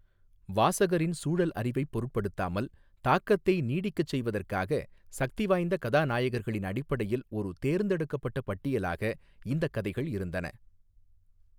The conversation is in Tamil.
வாசகரின் சூழல் அறிவைப் பொருட்படுத்தாமல், தாக்கத்தை நீடிக்கச் செய்வதற்காக, சக்திவாய்ந்த கதாநாயகர்களின் அடிப்படையில் ஒரு தேர்ந்தெடுக்கப்பட்ட பட்டியலாக இந்தக் கதைகள் இருந்தன.